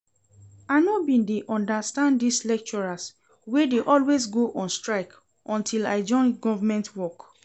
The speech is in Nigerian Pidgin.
I no bin dey understand dis lecturers wey dey always go on strike until I join government work